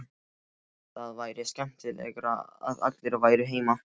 Það væri skemmtilegra að allir væru heima.